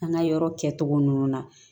An ka yɔrɔ kɛ cogo ninnu na